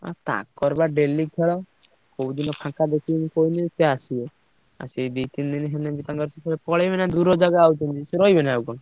ଆ ତାଙ୍କ ର ବା daily ଖେଳ କୋଉଦିନ ଫାଙ୍କ ଦେଖିକି କହିଲେସିଏ ଆସିବେ ଆଉ ସେ ଦିd ତିନ ଦିନ ହେଲେ ତାଙ୍କର ସିଏ ପଳେଇବେ ନାଁ ଦୁରଜାଗା ଆଉ କଣ ସିଏ ରହିବେ ନା ଆଉ।